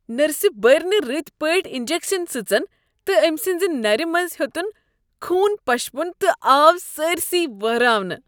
نرسہِ بٔر نہٕ رٕتۍ پٲٹھۍ انجكشن سٕژن تہٕ أمۍ سٕنٛزِ نرِ منٛزٕ ہیوٚتن خوٗن پشپُن تہٕ آو سٲرِسٕے واہراونہٕ۔